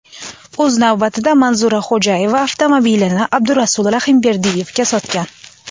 O‘z navbatida Manzura Xo‘jayeva avtomobilni Abdurasul Rahimberdiyevga sotgan.